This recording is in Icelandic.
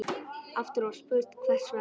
Aftur var spurt: Hvers vegna?